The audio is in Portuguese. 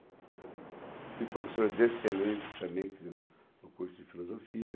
Tive professoras excelentes também, quer dizer, no curso de filosofia.